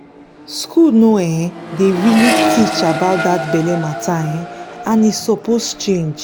school no um dey really teach about that belle matter um and e suppose change.